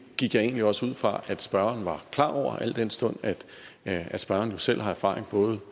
gik jeg egentlig også ud fra at spørgeren var klar over at den stund at at spørgeren jo selv har erfaring